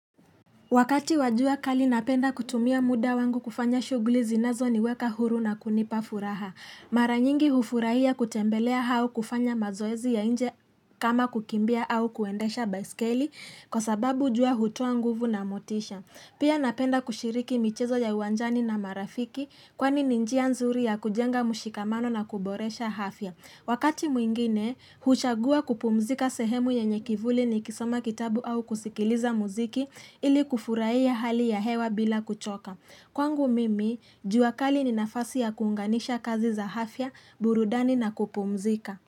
Wakati wajua kali napenda kutumia muda wangu kufanya shughuli zinazo niweka huru na kunipa furaha. Maranyingi hufurahia kutembelea hao kufanya mazoezi ya nje kama kukimbia au kuendesha baiskeli kwa sababu jua hutua nguvu na motisha. Pia napenda kushiriki michezo ya uwanjani na marafiki kwani ninjia nzuri ya kujenga mushikamano na kuboresha hafya. Wakati mwingine, huchagua kupumzika sehemu yenyekivuli ni kisoma kitabu au kusikiliza muziki ili kufurahia hali ya hewa bila kuchoka. Kwangu mimi, juakali ni nafasi ya kuunganisha kazi za afya, burudani na kupumzika.